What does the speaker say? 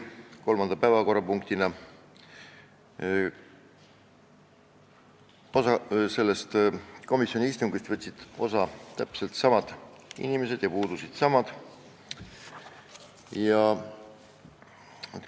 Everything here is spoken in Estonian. Selle eelnõu arutelust võtsid sel istungil osa täpselt samad inimesed, kes eelmise eelnõu arutelul.